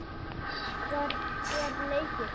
Hvar er leikið?